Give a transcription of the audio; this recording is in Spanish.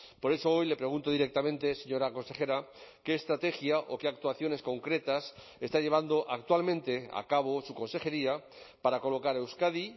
por eso hoy le pregunto directamente señora consejera qué estrategia o qué actuaciones concretas está llevando actualmente a cabo su consejería para colocar a euskadi